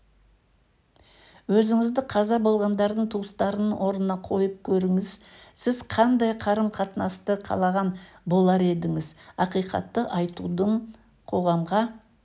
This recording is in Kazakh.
өзіңізді қаза болғандардың туыстарының орнына қойып көріңіз сіз қандай қарым-қатынасты қалаған болар едіңіз ақиқатты айтудың қоғамға